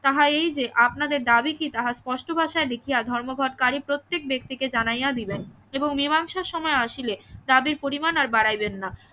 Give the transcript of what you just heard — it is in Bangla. তাহা এই যে আপনাদের দাবী কি তাহা স্পষ্ট ভাষায় লিখিয়া ধর্মঘটকারি প্রত্যেক ব্যক্তিকে জানাইয়া দিবেন এবং মীমাংসার সময় আসিলে দাবির পরিমাণ আর বাড়াইবেন না